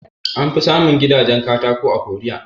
An fi samun gidajen katako a Korea